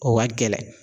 O ka gɛlɛn